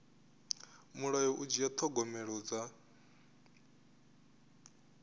mulayo u dzhia thogomelo dza